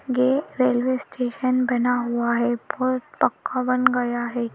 ये railway station बना हुआ है बहुत पक्का बन गया है।